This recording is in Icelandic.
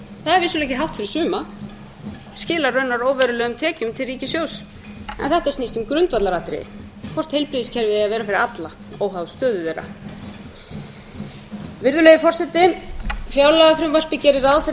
það er vissulega ekki hátt eftir suma skilar raunar óverulegum tekjum til ríkissjóðs en þetta snýst um grundvallaratriði hvort heilbrigðiskerfið eigi að vera fyrir alla óháð stöðu þeirra virðulegi forseti fjárlagafrumvarpið gerir ráð fyrir